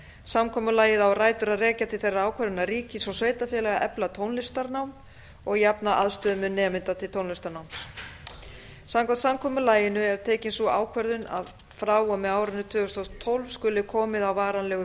samkomulagið á rætur að rekja til þeirrar ákvörðunar ríkis og sveitarfélaga að efla tónlistarnám og jafna aðstöðumun nemenda til tónlistarnáms samkvæmt samkomulaginu er tekin sú ákvörðun að frá og með árinu tvö þúsund og tólf skuli komið á varanlegu